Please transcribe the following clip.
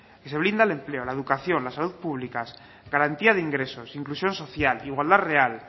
que se blinda el empleo la educación la salud pública garantía de ingresos inclusión social igualdad real